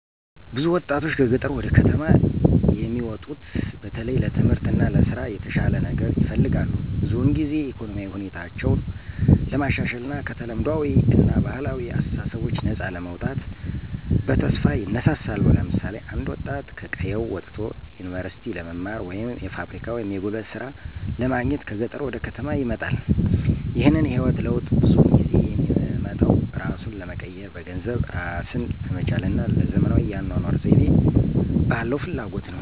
ብዙ ወጣቶች ከገጠር ወደ ከተማ የሚሙጡት በተለይ ለትምህርት እና ለስራ የተሻለ ነገር ይፈልጋሉ። ብዙውን ጊዜ ኢኮኖሚያዊ ሁኔታቸውን ለማሻሻል እና ከተለምዷዊ እና ባህላዊ አስተሳሰቦች ነፃ ለመውጣት በተስፋ ይነሳሳሉ። ለምሳሌ አንድ ወጣት ከቀየው ወጥቶ ዩኒቨርሲቲ ለመማር ወይም የፋብሪካ ወይም የጉልበት ሥራ ለማግኘት ከገጠር ወደ ከተማ ይመጣል። ይህንን የህይወት ለውጥ ብዙውን ጊዜ የሚመጣው እራሱን ለመቀየር፣ በገንዘብ እራስን ለመቻል እና ለዘመናዊ የአኗኗር ዘይቤ ባለው ፍላጎት ነው።